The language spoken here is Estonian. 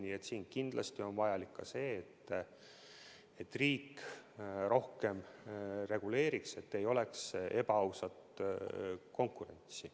Nii et kindlasti on vajalik ka see, et riik rohkem reguleeriks, et ei oleks ebaausat konkurentsi.